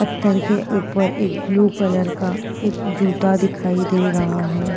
पत्थर के ऊपर एक ब्लू का एक जूता दिखाई दे रहा है।